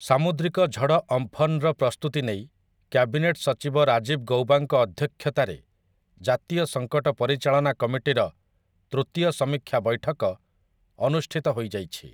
ସାମୁଦ୍ରିକ ଝଡ଼ ଅମ୍ଫନର ପ୍ରସ୍ତୁତି ନେଇ କ୍ୟାବିନେଟ ସଚିବ ରାଜୀବ ଗୌବାଙ୍କ ଅଧ୍ୟକ୍ଷତାରେ ଜାତୀୟ ସଙ୍କଟ ପରିଚାଳନା କମିଟିର ତୃତୀୟ ସମୀକ୍ଷା ବୈଠକ ଅନୁଷ୍ଠିତ ହୋଇଯାଇଛି ।